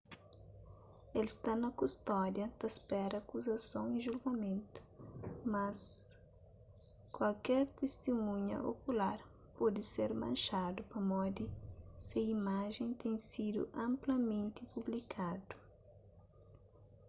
el sta na kustódia ta spera akuzason y julgamentu mas kuaker tistimunha okular pode ser manxadu pamodi se imajen ten sidu anplamenti publikadu